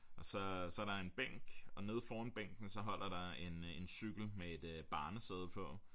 Og så så er der en bænk og nede foran bænken så holder der en øh en cykel med et barnesæde på